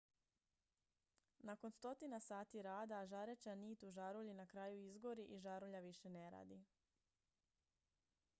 nakon stotina sati rada žareća nit u žarulji na kraju izgori i žarulja više ne radi